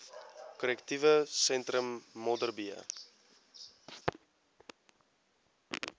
korrektiewe sentrum modderbee